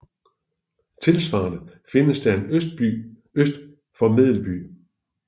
Tilsvarende findes der en Østerby øst for Medelby